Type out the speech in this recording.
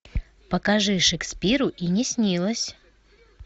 покажи шекспиру и не снилось